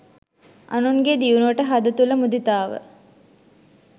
අනුන්ගේ දියුණුවට හද තුල මුදිතාව